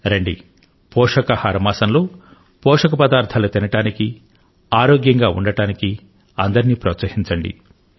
రండి పోషకాహార మాసంలో పోషక పదార్థాలు తినడానికి ఆరోగ్యంగా ఉండటానికి అందరినీ ప్రోత్సహించండి